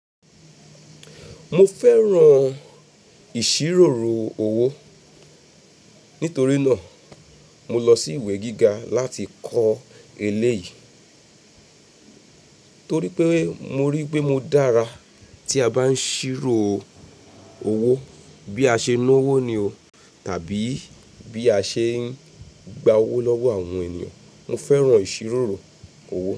Mo fẹ́ran ìṣiròrrò owó. Nítorí náà, mo lọ sí ìwé gíga láti kọ́ eléyìí. Torí pé mo rí pé mo dára tí a bá ń ṣírò owó bí a ṣe ń ná owó ni o tàbí bí a ṣe ń gba owó lọ́wọ́ àwọn èyàn. Mo fẹ́ran ìṣiròrò owó.